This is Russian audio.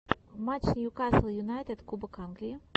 матч ньюкасл юнайтед кубок англии